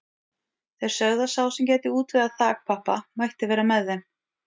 Þeir sögðu að sá sem gæti útvegað þakpappa mætti vera með þeim.